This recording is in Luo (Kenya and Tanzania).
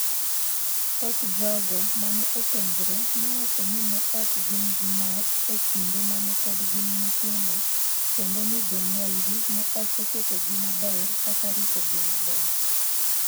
Thoth jogo ma ne openjre nowacho ni ne ok gin gi mor e kinde ma ne pod gin nyithindo kendo ni jonyuolgi ne ok oketogi maber kata ritogi maber.